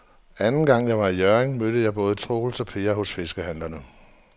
Anden gang jeg var i Hjørring, mødte jeg både Troels og Per hos fiskehandlerne.